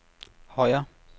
Højer